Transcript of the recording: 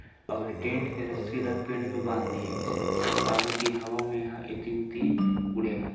अउ ए टेंट के रस्सी ला पेड़ में बांध दिये गिस हे काबर कि हवा में ए हा एती उति उड़े मत--